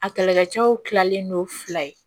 A kɛlɛkɛcɛw kilalen no fila ye